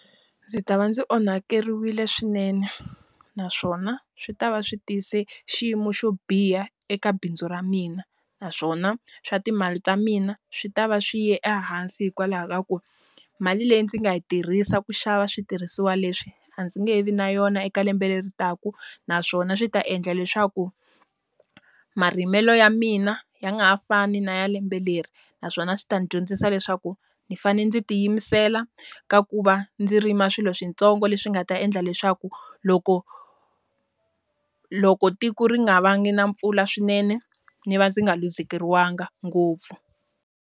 Ndzi ta va ndzi onhakeriwile swinene, naswona swi ta va swi tise xiyimo xo biha eka bindzu ra mina. Naswona swa timali ta mina swi ta va swi ye ehansi hikwalaho ka ku, mali leyi ndzi nga yi tirhisa ku xava switirhisiwa leswi, a ndzi nge vi na yona eka lembe leri taka. Naswona swi ta endla leswaku, marimelo ya mina ya nga ha fani na ya lembe leri. Naswona swi ta n'wi dyondzisa leswaku, ndzi fanele ndzi tiyimisela ka ku va ndzi rima swilo switsongo leswi nga ta endla leswaku loko, loko tiko ri nga vanga na mpfula swinene ndzi va ndzi nga luzekeriwangi ngopfu.